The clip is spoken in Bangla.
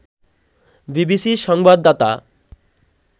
বিবিসির সংবাদদাতা